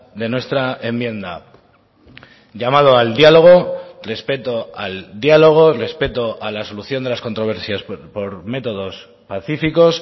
de nuestra enmienda llamado al diálogo respeto al diálogo respeto a la solución de las controversias por métodos pacíficos